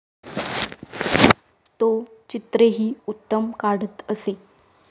तो चित्रेही उत्तम काढत असे.